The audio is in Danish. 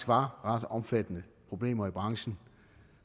var ret omfattende problemer i branchen